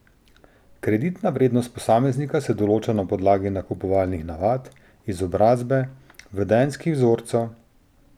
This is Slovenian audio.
Kreditna vrednost posameznika se določa na podlagi nakupovalnih navad, izobrazbe, vedenjskih vzorcev ...